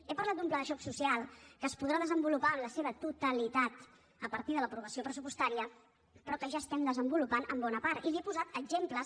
he parlat d’un pla de xoc social que es podrà desenvolupar en la seva totalitat a partir de l’aprovació pressupostària però que ja estem desenvolupant en bona part i n’hi he posat exemples